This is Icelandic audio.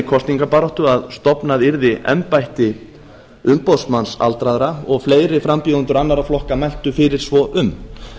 kosningabaráttu að stofnað yrði embætti umboðsmanns aldraðra og fleiri frambjóðendur annarra flokka mæltu fyrir svo um